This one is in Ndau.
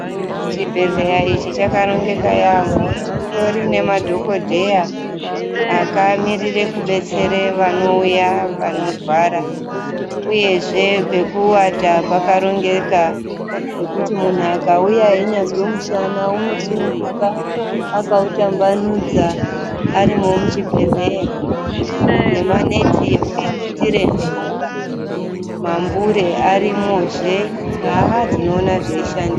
Chibhedhlela ichi chakarongeka. Chitori nemadhokodheya akamirire kubetsere vanouya vanorwara, uye zve pekuvata kwakarongeka zvokuti munhu akauya yenyazvi yomushana unosununguka akawutambanudza arimo muchibhedhleya nemambure arimo zve.